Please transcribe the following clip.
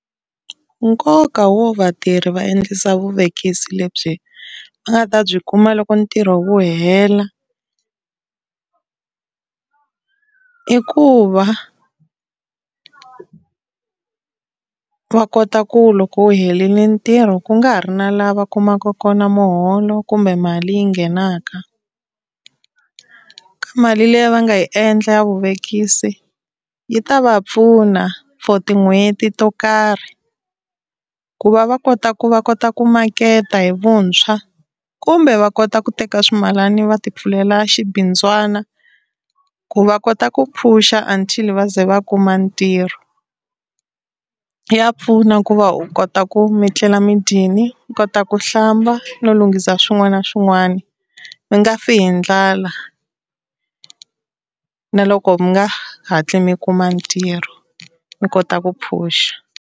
Nkoka wo vatirhi va endlisa vuvekisi lebyi va nga ta byi kuma loko ntirho wu hela i ku va va kota ku loko wu helini ntirho ku nga ha ri na laha va kumaka kona muholo kumbe mali yi nghenaka, ka mali liya a nga yi endla ya vuvekisi yi ta va pfuna for tin'hweti to karhi ku va va kota ku va kota ku maketa hi vuntshwa, kumbe va kota ku teka ximalani va ti pfulela xibindzwana ku va kota ku phusha until va ze va kuma ntirho. Ya pfuna ku va u kota ku mi tlela mi dyini, mi kota ku hlamba no lunghisa swin'wana na swin'wana mi nga fi hi ndlala. Na loko mi nga hatli mi kuma ntirho mi kota ku phusha.